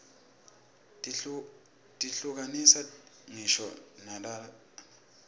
tihluka nisa nqisho narerqati